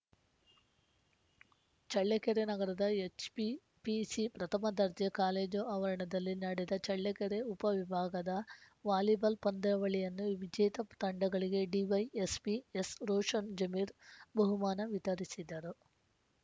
ಚಳ್ಳಕೆರೆ ನಗರದ ಎಚ್‌ಪಿಪಿಸಿ ಪ್ರಥಮ ದರ್ಜೆ ಕಾಲೇಜು ಆವರಣದಲ್ಲಿ ನಡೆದ ಚಳ್ಳಕೆರೆ ಉಪವಿಭಾಗದ ವಾಲಿಬಾಲ್‌ ಪಂದ್ಯಾವಳಿಯನ್ನು ವಿಜೇತ ತಂಡಗಳಿಗೆ ಡಿವೈಎಸ್ಪಿ ಎಸ್‌ರೋಷನ್‌ ಜಮೀರ್‌ ಬಹುಮಾನ ವಿತರಿಸಿದರು